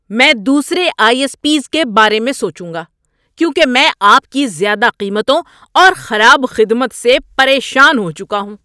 میں دوسرے ISPs کے بارے میں سوچوں گا کیونکہ میں آپ کی زیادہ قیمتوں اور خراب خدمت سے پریشان ہو چکا ہوں۔